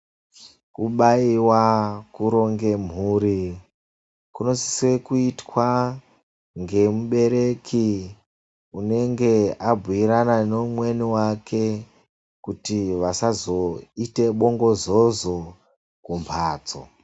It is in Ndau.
Kubayiwa, kuronge mhuri kunosisa kuitwa ngemubereki anenge awirirana neumweni wake kuitira kuti asazoite bongozozo kumhatso neumweni wake.